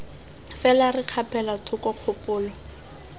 fela re kgapela thoko kgopolo